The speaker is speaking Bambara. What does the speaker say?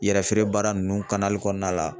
Yɛrɛ feere baara nunnu kanali kɔnɔna la